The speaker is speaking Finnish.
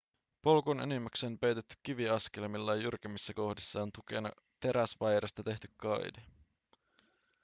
polku on enimmäkseen peitetty kiviaskelmilla ja jyrkemmissä kohdissa on tukena teräsvaijerista tehty kaide